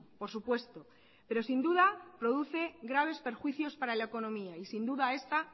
por supuesto pero sin duda produce graves perjuicios para la economía y sin duda esta